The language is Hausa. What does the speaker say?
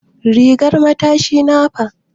Rigan matashi na fa?